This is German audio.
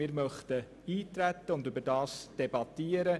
Wir möchten eintreten und darüber debattieren.